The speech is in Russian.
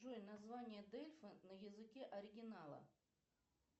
джой название дельфа на языке оригинала